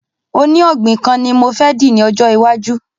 Oní ògbìn kan ni mo fẹ dì ní ọjọ́ iwájú